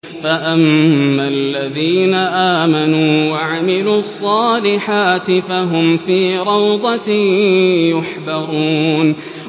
فَأَمَّا الَّذِينَ آمَنُوا وَعَمِلُوا الصَّالِحَاتِ فَهُمْ فِي رَوْضَةٍ يُحْبَرُونَ